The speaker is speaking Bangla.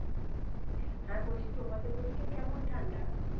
হ্যাঁ বলছি তোমাদের ওই দিকে কেমন ঠান্ডা?